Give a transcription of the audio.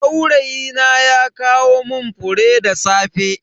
Saurayina ya kawo mun fure da safe.